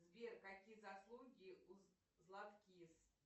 сбер какие заслуги у златкис